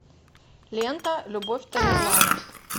лента любовь тамерлана